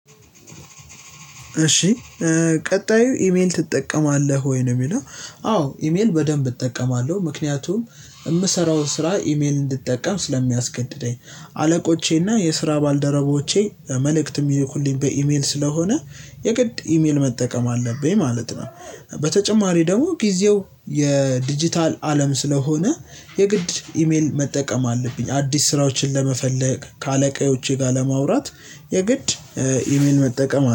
እሺ ቀጣዩ ኢሜል ትጠቀማለህ? ወይ ነው የሚለው አዎ ኢሜል በደንብ እጠቀማለሁ ምክንያቱም የምሰራውን ስራ ኢሜል እንድጠቀም ስለሚያስገድደኝ አለቆቼና የስራ ባልደረቦቼ መልእክት የሚልኩልኝ በኢሜል ስለሆነ የግድ ኢሜል መጠቀም አለብኝ ማለት ነው። በተጨማሪ ደግሞ ጊዜው የዲጂታል አለም ስለሆነ የግድ ኢሜል መጠቀም አለብኝ አዲስ ስራዎችን ለመፈለግ ከአለቃዎቼ ጋር ለማውራት የግድ ኢሜል መጠቀም